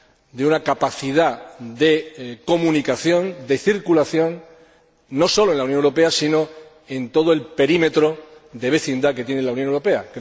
de una capacidad de comunicación, de circulación no sólo en la Unión Europea, sino en todo el perímetro de vecindad que tiene la Unión Europea.